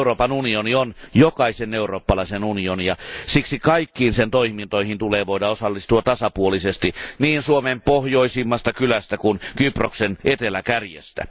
Euroopan unioni on jokaisen eurooppalaisen unioni, ja siksi kaikkiin sen toimintoihin tulee voida osallistua tasapuolisesti niin Suomen pohjoisimmasta kylästä kuin Kyproksen eteläkärjestä.